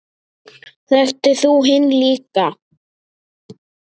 Þekktir þú hinn líka?